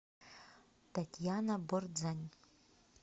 татьяна бордзань